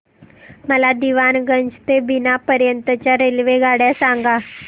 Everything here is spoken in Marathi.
मला दीवाणगंज ते बिना पर्यंत च्या रेल्वेगाड्या सांगा